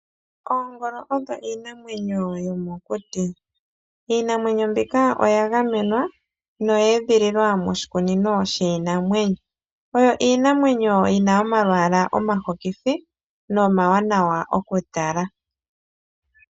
Oongolo odho iinamwenyo yomokuti, iinamwenyo mbika oya gamenwa noyeedhililwa moshikunino shiinamwenyo, oyo iinamwenyo yina omalwaala omahokithi nomawanawa okutala.